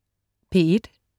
P1: